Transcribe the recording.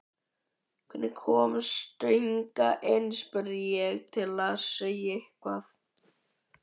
Hvernig komstu hingað inn? spurði ég til að segja eitthvað.